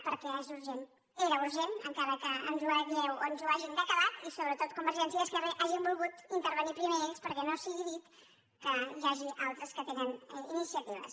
perquè és urgent era urgent encara que ens ho hàgiu o hagin decalat i sobretot que convergència i esquerra hagin volgut inter venir primer ells perquè no sigui dit que n’hi hagi d’altres que tenen iniciatives